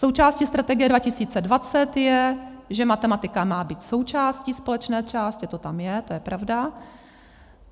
Součástí strategie 2020 je, že matematika má být součástí společné části, to tam je, to je pravda.